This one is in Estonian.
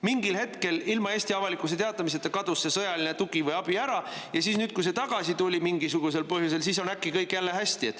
Mingil hetkel, ilma Eesti avalikkusele teatamiseta, kadus see sõjaline tugi või abi ära ja nüüd, kui see mingisugusel põhjusel tagasi tuli, on äkki kõik jälle hästi.